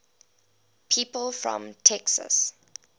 people from texas